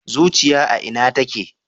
Zuciya a Ina take